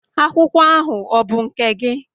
Akwụkwọ ahụ ọ bụ nke gị?